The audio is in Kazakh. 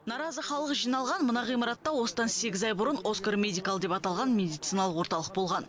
наразы халық жиналған мына ғимаратта осыдан сегіз ай бұрын оскар медикал деп аталған медициналық орталық болған